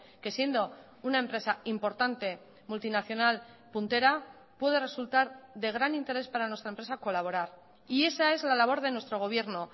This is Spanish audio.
que siendo una empresa importante multinacional puntera puede resultar de gran interés para nuestra empresa colaborar y esa es la labor de nuestro gobierno